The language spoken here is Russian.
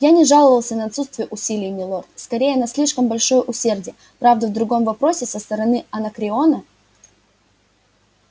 я не жаловался на отсутствие усилий милорд скорее на слишком большое усердие правда в другом вопросе со стороны анакреона